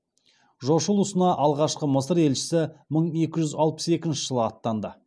жошы ұлысына алғашқы мысыр елшісі мың екі жүз алпыс екінші жылы аттанды